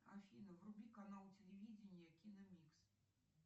афина вруби канал телевидения киномикс